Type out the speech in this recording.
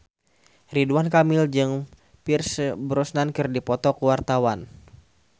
Ridwan Kamil jeung Pierce Brosnan keur dipoto ku wartawan